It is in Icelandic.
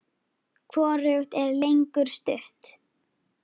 Hvorugt er lengur stutt.